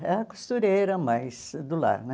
Era costureira, mas do lar, né?